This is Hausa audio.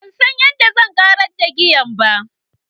Ban san yadda zan canza giyan ba.